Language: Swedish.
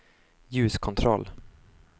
ljuskontroll